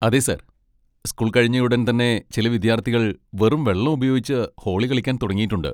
അതെ sir, school കഴിഞ്ഞയുടൻ തന്നെ ചില വിദ്യാർത്ഥികൾ വെറും വെള്ളം ഉപയോഗിച്ച് ഹോളി കളിക്കാൻ തുടങ്ങിയിട്ടുണ്ട്!